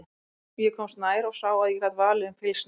Ég komst nær og sá að ég gat valið um fylgsni.